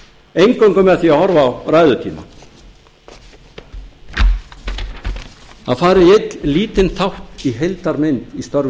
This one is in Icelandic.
eingöngu með því að horfa á ræðutímann að fara í einn lítinn þátt í heildarmynd í störfum